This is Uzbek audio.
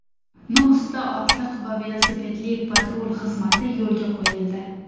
Nukusda otliq va velosipedli patrul xizmati yo‘lga qo‘yildi.